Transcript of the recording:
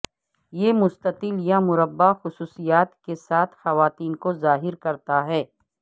یہ مستطیل یا مربع خصوصیات کے ساتھ خواتین کو ظاہر کرتا ہے